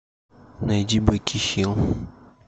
найди беки хилл